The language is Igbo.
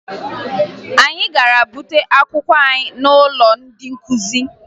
Anyị gara bute akwụkwọ anyị n'ụlọ ndị nkụzi